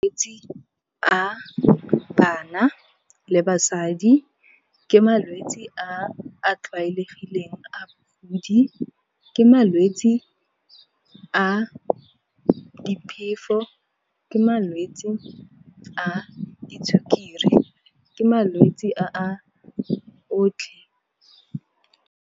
Malwetsi a bana le basadi, ke malwetsi a tlwaelegileng a , ke malwetsi a diphefo, ke malwetsi a disukiri, ke malwetsi a otlhe.